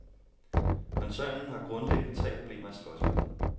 Koncernen har grundlæggende tre problemer at slås med.